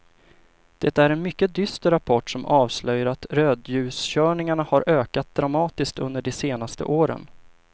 Det är en mycket dyster rapport som avslöjar att rödljuskörningarna har ökat dramatiskt under de senaste åren.